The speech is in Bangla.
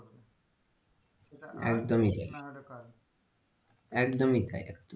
সেটা আজ একদমই তাই হলে কাল একদমই তাই।